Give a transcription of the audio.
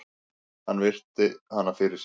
Hann virti hana fyrir sér.